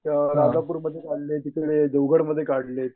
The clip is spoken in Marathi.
राजापूरमध्ये काढले तिकडे देवगडमध्ये काढलेत.